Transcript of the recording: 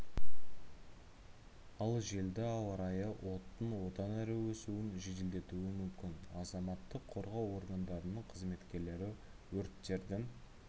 ал желді ауа райы оттың одан әрі өсуін жеделдетуі мүмкін азаматтық қорғау органдарының қызметкерлері өрттердің